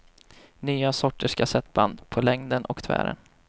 Nya sorters kassettband, på längden och tvären.